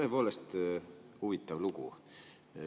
Tõepoolest, huvitav lugu.